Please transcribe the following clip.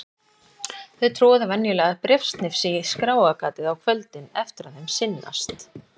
Þau troða venjulega bréfsnifsi í skráargatið á kvöldin eftir að þeim sinnast.